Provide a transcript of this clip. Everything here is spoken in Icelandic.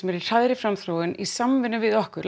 er í hraðri framþróun í samvinnu við okkur